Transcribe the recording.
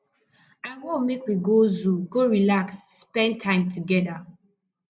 i wan make we go zoo go relax spend time togeda